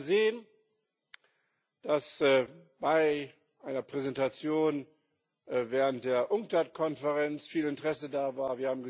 Wir haben gesehen, dass bei einer Präsentation während der Unctad Konferenz viel Interesse da war.